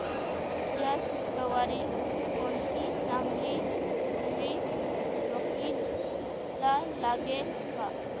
या शुक्रवारी कोणती चांगली मूवी टॉकीझ ला लागेल का